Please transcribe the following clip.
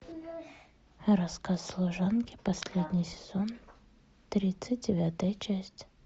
рассказ служанки последний сезон тридцать девятая часть